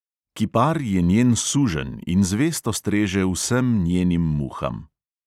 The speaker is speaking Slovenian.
Kipar je njen suženj in zvesto streže vsem njenim muham.